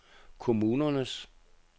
kommunernes